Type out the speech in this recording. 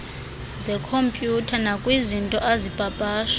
zekhompyutha nakwizinto azipapasha